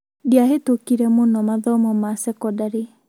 Ndĩahĩtũkire mũno mathomo ma cekondarĩ